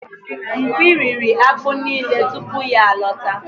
Mkpi riri akpu nile tupu ya alọta.